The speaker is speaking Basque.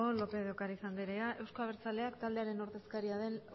lópez de ocariz andereak eusko abertzaleak taldearen ordezkariaren